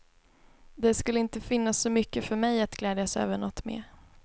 Det skulle inte finnas så mycket för mig att gläjdas över något mer.